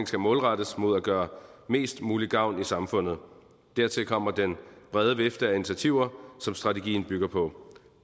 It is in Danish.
skal målrettes mod at gøre mest mulig gavn i samfundet dertil kommer den brede vifte af initiativer som strategien bygger på